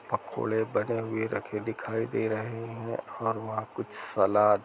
पकोड़े बने हुए रखे दिखाई दे रहे हैं और वहाँ कुछ सलाद --